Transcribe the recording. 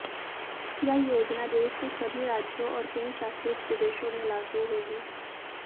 यह योजना देश के सभी राज्यों और केन्द्र शासित प्रदेशों में लागू होगी